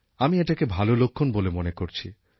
আমি এটাকে ভালো লক্ষণ বলে মনে করছি